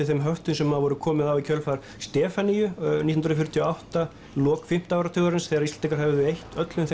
þeim höftum sem var komið á í kjölfar Stefaníu nítján hundruð fjörutíu og átta lok fimmta áratugarins þegar Íslendingar höfðu eytt öllum